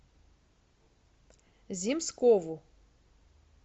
земскову